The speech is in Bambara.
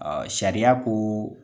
Sariya ko